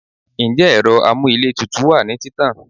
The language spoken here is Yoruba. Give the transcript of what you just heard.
njẹ ero amú íle tútú wa ni títàn